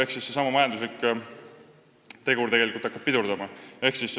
Ehk seesama majanduslik tegur hakkab laste saamist pidurdama.